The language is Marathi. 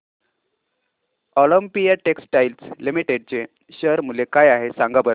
ऑलिम्पिया टेक्सटाइल्स लिमिटेड चे शेअर मूल्य काय आहे सांगा बरं